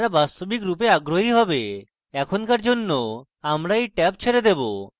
এখনকার জন্য আমরা এই ট্যাব ছেড়ে দেবো